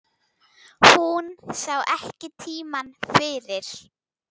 Hún sá ekki tímann fyrir.